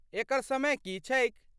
एकर समय की छैक?